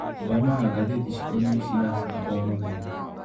Thomaga ngathĩti cikonie ciaca o mũthenya.